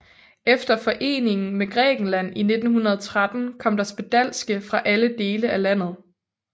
Efter foreningen med Grækenland i 1913 kom der spedalske fra alle dele af landet